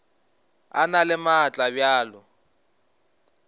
e na le maatla bjalo